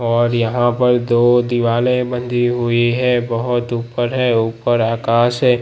और यहां पर दो दीवाले बंधी हुई है बहोत ऊपर है ऊपर आकाश है।